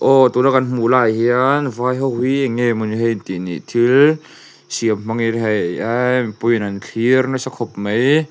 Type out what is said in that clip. aw tuna kan hmuh laiah hian vai ho hi eng nge mawni hei an tih ni thil siam hmangin hei eee mipuiin an thlir nasa khawp mai.